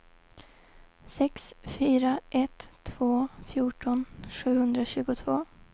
sex fyra ett två fjorton sjuhundratjugotvå